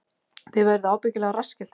Þið verðið ábyggilega rassskelltir